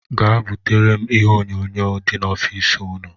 Jee butere m ihe onyonyo dị n' ọffici ụnụ!!